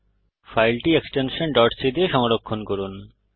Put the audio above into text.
ফাইলটি extension c দিয়ে সংরক্ষণ করুন